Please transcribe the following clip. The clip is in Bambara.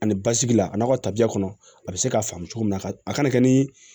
Ani basigi la a n'a ka tabiya kɔnɔ a bɛ se ka faamu cogo min na a kana kɛ ni